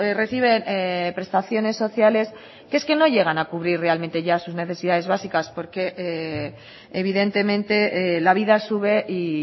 reciben prestaciones sociales que es que no llegan a cubrir realmente ya sus necesidades básicas porque evidentemente la vida sube y